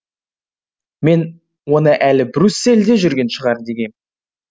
мен оны әлі брюссельде жүрген шығар дегем